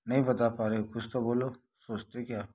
नहीं बता पा रहे हो कुछ तो बोलो सोचते क्या --